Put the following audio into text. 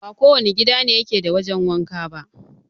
Ba kowane gida ne yake da wajen wanka ba